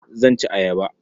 Zan ci ayaba.